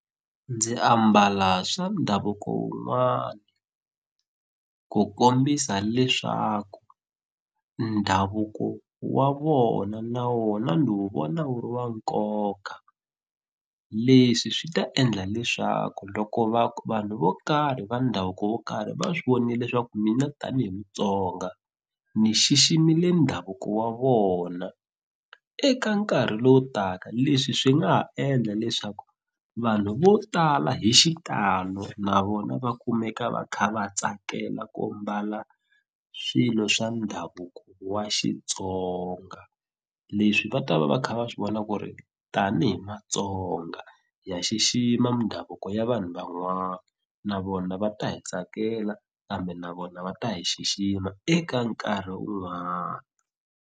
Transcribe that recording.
Ndzi ambala swa ndhavuko wun'wana ku kombisa leswaku ndhavuko wa vona na wona ni wu vona wu ri wa nkoka leswi swi ta endla leswaku loko vanhu vo karhi va ndhavuko wo karhi va swi vonile leswaku mina tanihi Mutsonga ni xiximile ndhavuko wa vona eka nkarhi lowu taka leswi swi nga ha endla leswaku vanhu vo tala hi xitalo na vona va kumeka va kha va tsakela ku mbala swilo swa ndhavuko wa Xitsonga leswi va ta va va kha va swi vona ku ri tanihi Matsonga ha xixima mindhavuko ya vanhu van'wana na vona va ta hi tsakela kambe na vona va ta hi xixima eka nkarhi un'wana.